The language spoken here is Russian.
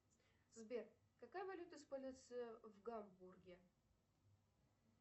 сбер какая валюта используется в гамбурге